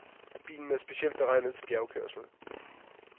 Bilen er specielt beregnet til bjergkørsel.